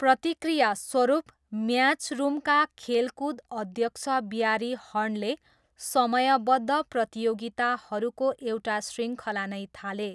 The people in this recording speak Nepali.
प्रतिक्रियास्वरूप, म्याचरुमका खेलकुद अध्यक्ष ब्यारी हर्नले समयबद्ध प्रतियोगिताहरूको एउटा शृङ्खला नै थाले।